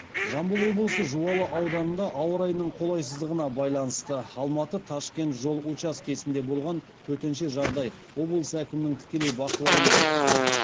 жамбыл облысы жуалы ауданында ауа райының қолайсыздығына байланысты алматы ташкент жол учаскесінде болған төтенше жағдай облыс әкімінің тікелей бақылауында